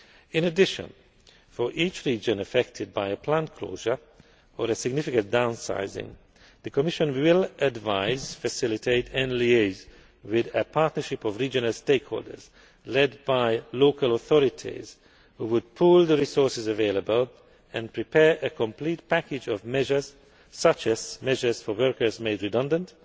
reporting. In addition, for each region affected by a plant closure or a significant downsizing, the Commission will advise, facilitate and liaise with a partnership of regional stakeholders, led by local authorities who would pool the resources available and prepare a complete package of measures such as measures for workers made